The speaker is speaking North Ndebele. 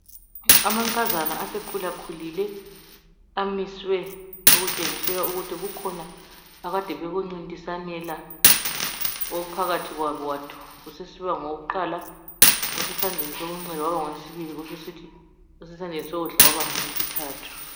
Amankazana asekhulakhulile amiswe okutshengisela ukuthi kukhona abakade bekucidasanela ophakathi kwabo wasesiba ngokuqala osesandleni sokunxele waba ngowesibili kwasokusithi osesandleni sokudla wasesiba ngowesithathu.